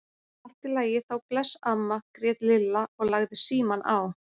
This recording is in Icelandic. Allt í lagi þá, bless amma grét Lilla og lagði símann á.